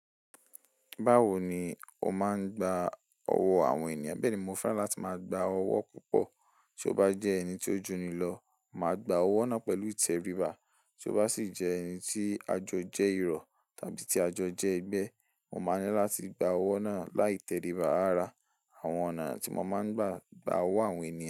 Báwo ni o máa ń gba ọwọ́ àwọn ènìyàn? Bẹ́ẹ̀ ni mo fẹ́ràn láti máa gba ọwọ́ púpọ̀. Tí ó bá jẹ́ ẹni tí ó jù ni lọ, màá gba ọwọ́ náà pẹ̀lú ìtẹríba, tí ó bá sì jẹ́ ẹni tí àjọ jẹ́ irọ̀ tàbí tí àjọ jẹ́ ẹgbẹ́, mo máa ní láti gba ọwọ́ náà lai tẹríba ara. Àwọn ọ̀nà tí mo máa ń gbà gba ọwọ́ àwọn ènìyàn.